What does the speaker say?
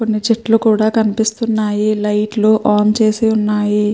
కొన్ని చెట్లు కూడ కనిపిస్తున్నాయి లైట్ లు ఆన్ చేసి ఉన్నాయి.